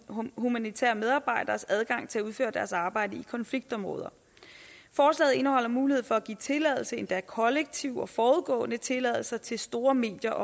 humanitære medarbejderes adgang til at udføre deres arbejde i konfliktområder forslaget indeholder mulighed for at give tilladelse endda kollektiv og forudgående tilladelse til store medier